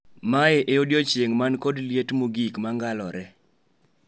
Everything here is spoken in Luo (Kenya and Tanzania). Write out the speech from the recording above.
Mae e odiechieng' man kod liet mogik Mangalore